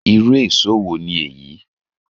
Irú èṣó wo ni èyí?